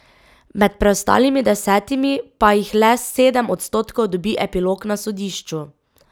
Med preostalimi desetimi pa jih le sedem odstotkov dobi epilog na sodišču.